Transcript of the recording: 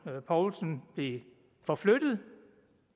poulsen blev forflyttet